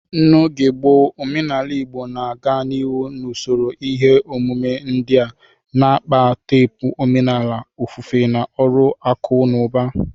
N'oge gboo, omenala Igbo na-aga n'ihu n'usoro ihe omume ndị a, na-akpa teepu omenala, ofufe, na ọrụ akụ na ụba.